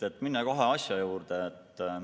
Lähen kohe asja juurde.